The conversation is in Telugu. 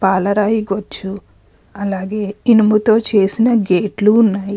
పాలరాయి కుచ్చు అలాగే ఇనుముతో చేసిన గేట్లు ఉన్నాయి.